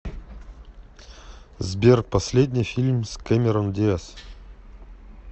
сбер последний фильм с кэмерон диаз